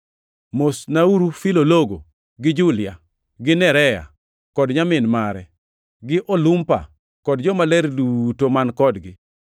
Mosnauru Filologo gi Julia gi Nerea kod nyamin mare; gi Olumpa kod jomaler duto man kodgi.